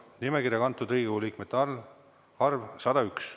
Nimekirja kantud Riigikogu liikmete arv – 101.